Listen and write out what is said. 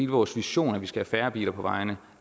vores vision at vi skal have færre biler på vejene